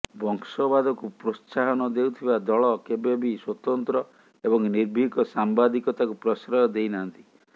ବଂଶବାଦକୁ ପ୍ରୋତ୍ସାହନ ଦେଉଥିବା ଦଳ କେବେ ବି ସ୍ବତନ୍ତ୍ର ଏବଂ ନିର୍ଭୀକ ସାମ୍ବାଦିକତାକୁ ପ୍ରଶ୍ରୟ ଦେଇନାହାନ୍ତି